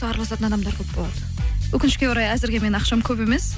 араласатын адамдар көп болады өкінішке орай әзірге менің ақшам көп емес